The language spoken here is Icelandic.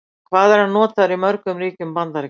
Hvað er hann notaður í mörgum ríkjum Bandaríkjanna?